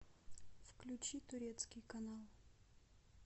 включи турецкий канал